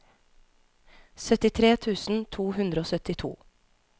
syttitre tusen to hundre og syttito